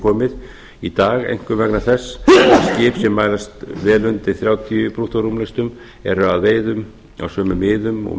borð í dag einkum vegna þess að skip sem mælast vel undir þrjátíu brúttórúmlestum eru á veiðum á sömu miðum og